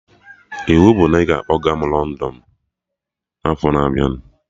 Iwu bụ na ị ga-akpọga m London n'afọ na abịa